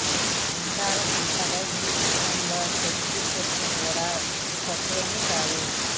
అందాల సందప ఈ విషయంలో శిల్పా శెట్టి కూడా తక్కువేమీ కాదు